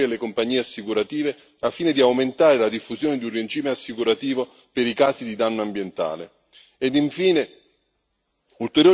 Vanno introdotte norme che agevolino gli operatori e le compagnie assicurative, al fine di aumentare la diffusione di un regime assicurativo per i casi di danno ambientale.